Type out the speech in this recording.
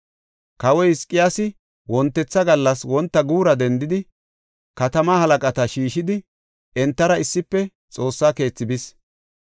Kawoy Hizqiyaasi wontetha gallas wonta guura dendidi katamaa halaqata shiishidi, entara issife Xoossa keethi bis.